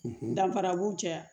Danfara b'u cɛya